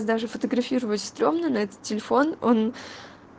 даже фотографировать стрёмно на этот телефон он